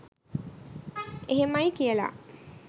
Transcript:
එහෙමයි කියලා